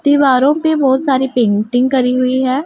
दीवारों पे बहुत सारी पेंटिंग करी हुई है।